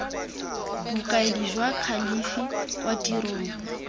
bokaedi jwa kalafi kwa tirong